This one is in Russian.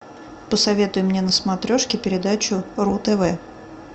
посоветуй мне на смотрешке передачу ру тв